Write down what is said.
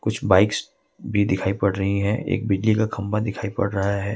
कुछ बाइक्स भी दिखाई पड़ रही है एक बिजली का खंबा दिखाई पड़ रहा है।